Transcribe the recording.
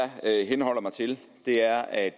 det jeg henholder mig til er at